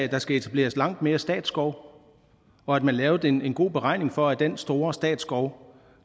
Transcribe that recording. at der skal etableres langt mere statsskov og at man lavede en en god beregning for at den store statsskov